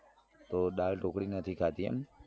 તો દાળ ઢોકળી નથી ખાધી એમ